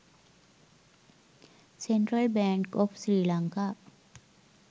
central bank of sri lanka